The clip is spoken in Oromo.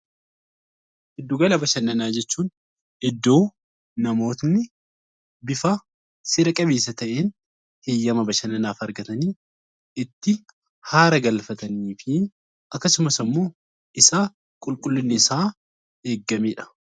Giddu gala bashannanaa jechuu iddoo namoonni bifa seera qabeessa ta'een heeyyama bashannanaaf argatanii itti haara galfatanii fi akkasumas immoo isa qulqullinni isaa eegamedha.